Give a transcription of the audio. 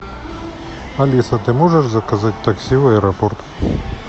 алиса ты можешь заказать такси в аэропорт